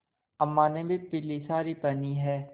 अम्मा ने भी पीली सारी पेहनी है